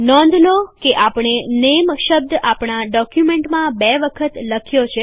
નોંધ લો કે આપણે નેમ શબ્દ આપણા ડોક્યુમેન્ટમાં બે વખત લખ્યો છે